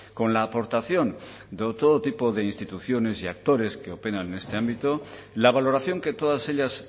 con la aportación de todo tipo de instituciones y actores que operan en este ámbito la valoración que todas ellas